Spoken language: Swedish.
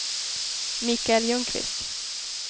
Mikael Ljungqvist